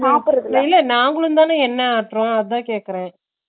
இல்ல நாங்களும்தா என்னை ஆட்டுரோ அதா கேக்குறே